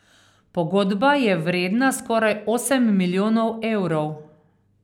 Pogodba je vredna skoraj osem milijonov evrov.